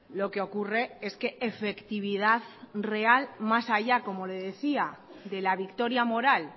lo que ocurre es que efectividad real más allá como le decía de la victoria moral